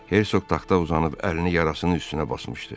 Hersoq taxta uzanıb əlini yarasının üstünə basmışdı.